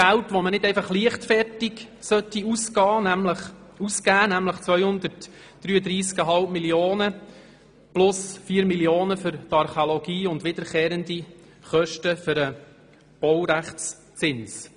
Geld, das man nicht einfach leichtfertig ausgeben sollte: 233,5 Mio. Franken plus 4 Mio. Franken für die Archäologie und wiederkehrende Kosten für den Baurechtszins.